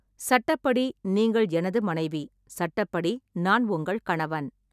சட்டப்படி நீங்கள் எனது மனைவி, சட்டப்படி நான் உங்கள் கணவன்.